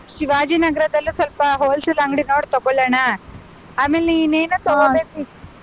ಶಿವಾಜಿ ನಗರದಲ್ಲೂ ಸ್ವಲ್ಪ wholesale ಅಂಗಡಿ ನೋಡ್ ತಗೋಳೋಣ? ಆಮೇಲೆ ಇನ್ನೇನೋ .